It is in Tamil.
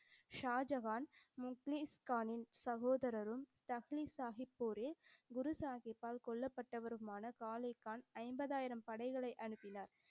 ஷாஜகான் முக்லீஸ்கானின் சகோதரரும் தஹ்லீஸ் சாஹிப் குரு சாஹிப்பால் கொல்லப்பட்டவருமான கான் ஐம்பதாயிரம் படைகளை அனுப்பினார்.